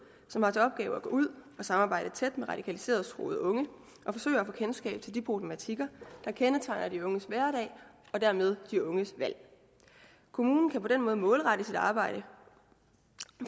som har til opgave at gå ud og samarbejde tæt med radikaliseringstruede unge og forsøge at få kendskab til de problematikker der kendetegner de unges hverdag og dermed de unges valg kommunen kan på den måde målrette sit arbejde